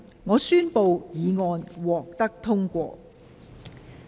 我宣布議案獲得通過。